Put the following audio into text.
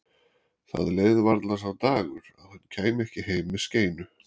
Það leið varla sá dagur að hann kæmi ekki heim með skeinu.